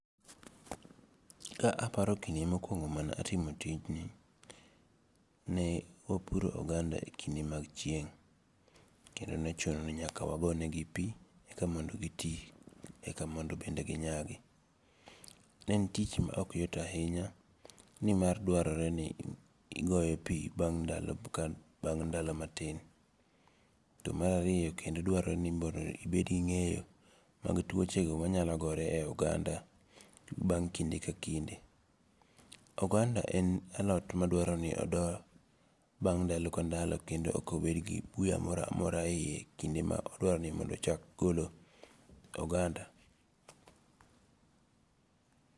Ka aparo kinde mokuongo' mane atimo tijni, ne wapuro oganda e kinde mag chieng' kendo ne chuno ni nyaka mondo wagonegi pi eka mondo gi ti eka mondo ginyagi, ne en tich ma okyot ahinya nimar dwaroreni igiyo pi bang' ndalo matin, to marariyo kendo dwarore ni mondo ibed gi nge'yo mag tuochego manyalo gore e oganda bang' kinde ka kinde, oganda en alot ma dwaroni odo bang' ndalo ka ndalo kendo ok obed gi buya moro amora hiye kinde ma odwarore ni mondo chak golo oganda.